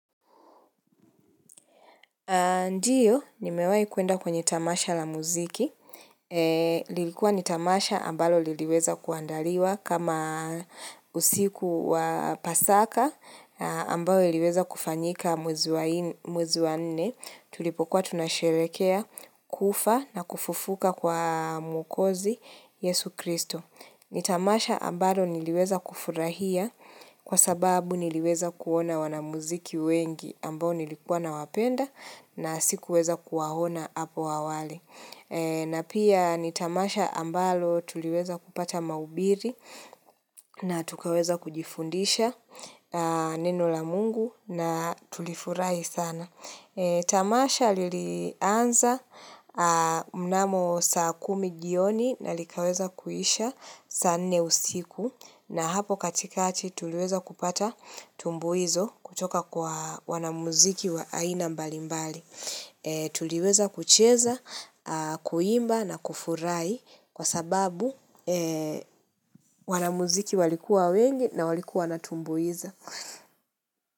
Ndiyo, nimewa ikuenda kwenye tamasha la muziki. Lilikuwa ni tamasha ambalo liweza kuandaliwa kama usiku wa pasaka ambayo liweza kufanyika mwezi wa nne. Tulipokuwa tunasherekea, kufa na kufufuka kwa mukozi Yesu Kristo. Nitamasha ambalo niliweza kufurahia kwa sababu niliweza kuona wanamuziki wengi ambao nilikuwa na wapenda na sikuweza kuahona hapo awale. Na pia nitamasha ambalo tuliweza kupata maubiri na tukaweza kujifundisha neno la mungu na tulifurahi sana. Tamasha lilianza mnamo saa kumi jioni na likaweza kuisha saa nneusiku na hapo katikati tuliweza kupata tumbu hizo kutoka kwa wanamuziki wa aina mbali mbali. Tuliweza kucheza, kuimba na kufurai kwa sababu wanamuziki walikuwa wengi na walikuwa natumbuiza.